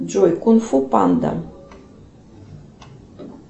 джой кунг фу панда